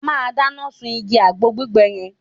A máa dáná sún igi àgbọn gbígbẹ yẹn